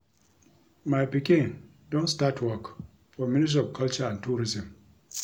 My pikin don start work for ministry of culture and Tourism